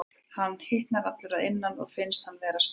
Hann hitnar allur að innan og finnst hann vera að springa.